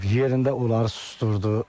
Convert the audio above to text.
Yerində onları susdurdu.